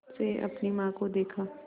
से अपनी माँ को देखा